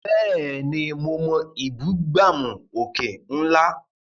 Bẹ́ẹ̀ni, mo mọ ìbúgbàmù òkè ńlá.